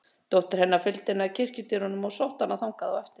Dóttir hennar fylgdi henni að kirkjudyrunum og sótti hana þangað á eftir.